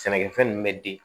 Sɛnɛkɛfɛn ninnu bɛ den